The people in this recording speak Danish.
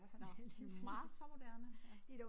Nåh den var så moderne ja